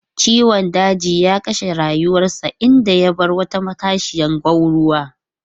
Ciwon daji ya kashe rayuwarsa, inda ya bar wata matashiyar gwanruwa.